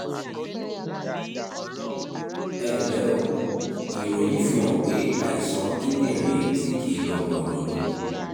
ẹ ǹlẹ́ o ìròyìn fihàn pé àìsàn kíndìnrín tí kì í lọ bọ̀rọ̀ ni